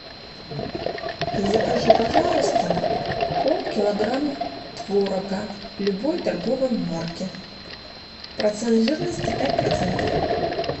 закажи пожалуйста полкилограмма творога любой торговой марки процент жирности пять процентов